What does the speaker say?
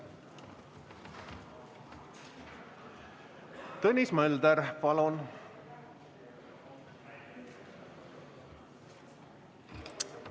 Tõnis Mölder, palun!